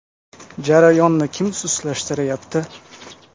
Jarayonni kim sustlashtirayapti?